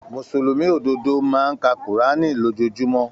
Mùsùlùmí ododo máa n ka kurani lójoojúmó.